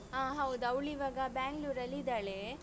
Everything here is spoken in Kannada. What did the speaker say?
ಹಾ ಹೌದು ಅವ್ಳು ಇವಾಗ Bangalore ಅಲ್ಲಿ ಇದ್ದಾಳೆ.